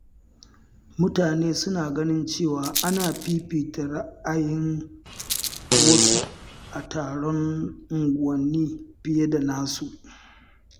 Mutane suna ganin cewa ana fifita ra’ayin wasu a taron unguwanni fiye da na wasu.